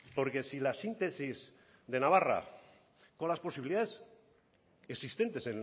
porque si la síntesis de navarra con las posibilidades existentes